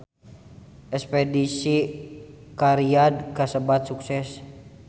Espedisi ka Riyadh kasebat sukses